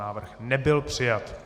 Návrh nebyl přijat.